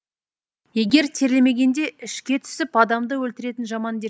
егер терлемегенде ішке түсіп адамды өлтіретін жаман дерт